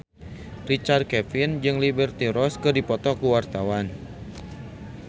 Richard Kevin jeung Liberty Ross keur dipoto ku wartawan